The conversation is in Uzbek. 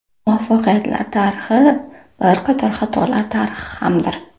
Muvaffaqiyatlar tarixi bir qator xatolar tarixi hamdir.